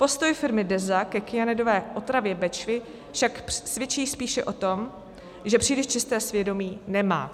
Postoj firmy Deza ke kyanidové otravě Bečvy však svědčí spíše o tom, že příliš čisté svědomí nemá.